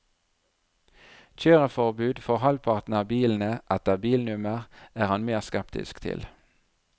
Kjøreforbud for halvparten av bilene, etter bilnummer, er han mer skeptisk til.